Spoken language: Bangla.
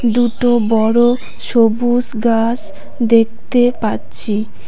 দুটো বড় সবুস গাস দেখতে পাচ্ছি।